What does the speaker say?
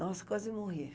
Nossa, quase morri.